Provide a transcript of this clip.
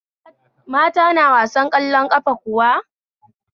Mata na wasar ƙwallon ƙafa kuwa?